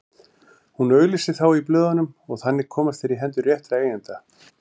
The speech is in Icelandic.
Hún auglýsir þá í blöðunum og þannig komast þeir í hendur réttra eigenda.